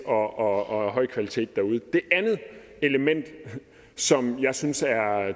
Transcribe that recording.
og af høj kvalitet derude det andet element som jeg synes er